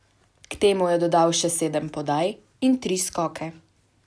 K temu je dodal še sedem podaj in tri skoke.